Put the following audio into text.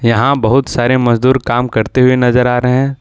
यहां बहुत सारे मजदूर काम करते हुए नजर आ रहे हैं।